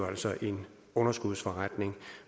altså en underskudsforretning